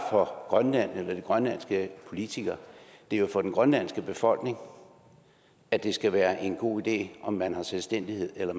grønland eller de grønlandske politikere det er jo for den grønlandske befolkning at det skal være en god idé om man har selvstændighed eller